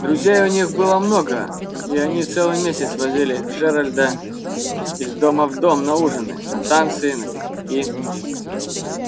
друзей у них было много и они целый месяц возили джералда из дома в дом на ужины на танцы на пикники